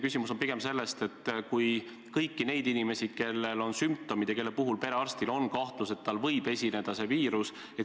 Küsimus on pigem selles, et saaks testida kõiki neid inimesi, kellel on sümptomid ja kelle puhul perearstil on kahtlus, et tal võib esineda see viirus.